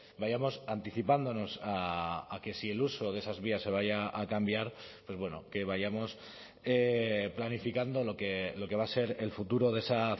vayamos anticipándonos a que si el uso de esas vías se vaya a cambiar pues bueno que vayamos planificando lo que va a ser el futuro de esa